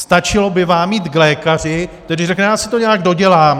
Stačilo by vám jít k lékaři, který řekne "já si to nějak dodělám"?